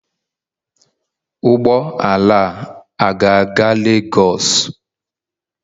Ụgbọ ala a ga-aga Lagos?